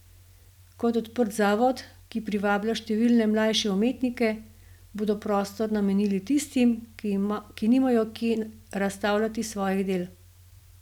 Kot odprt zavod, ki privablja številne mlajše umetnike, bodo prostor namenili tistim, ki nimajo kje razstavljati svojih del.